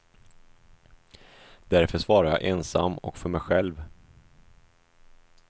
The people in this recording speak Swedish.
Därför svarar jag ensam och för mig själv.